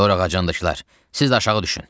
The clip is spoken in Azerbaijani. Dorağacındakılar, siz də aşağı düşün!